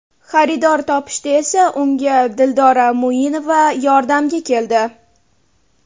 Xaridor topishda esa unga Dildora Muinova yordamga keldi.